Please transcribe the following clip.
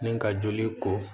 Ni ka joli ko